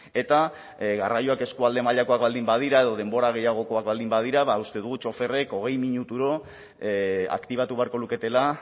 eta garraioak eskualde mailakoak baldin badira edo denbora gehiagokoa baldin badira uste dugu txoferrek hogei minuturo aktibatu beharko luketela